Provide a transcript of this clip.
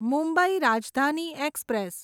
Mumbai Rajdhani express